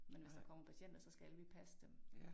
Men hvis der kommer patienter så skal vi passe dem